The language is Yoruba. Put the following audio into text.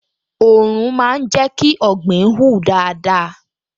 Òòrùn máa ń jẹ́ kí ọ̀gbìn hù dáadáa